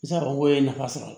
I bɛ se ka fɔ ko ye nafa sɔrɔ a la